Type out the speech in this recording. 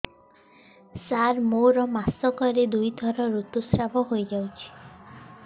ସାର ମୋର ମାସକରେ ଦୁଇଥର ଋତୁସ୍ରାବ ହୋଇଯାଉଛି